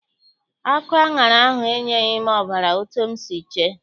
Akụ aṅara ahụ enyeghị m ọbara etu m si chee.